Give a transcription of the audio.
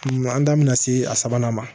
An da bɛna se a sabanan ma